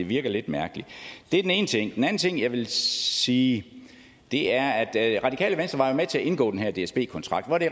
virker lidt mærkeligt det er den ene ting den anden ting jeg vil sige er at radikale venstre jo var med til at indgå den her dsb kontrakt hvor det